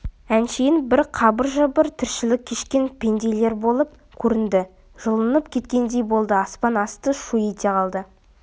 әншейін бір қыбыр-жыбыр тіршілік кешкен пенделер болып көрінді жұлынып кеткендей болды аспан асты шу ете қалды